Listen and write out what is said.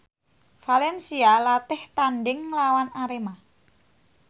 valencia latih tandhing nglawan Arema